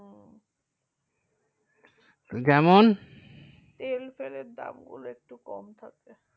যেমন তেল ফেলে দাম গুলো একটু কম থাকে যেমন